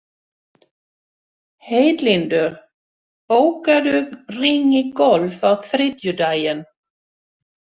Heiðlindur, bókaðu hring í golf á þriðjudaginn.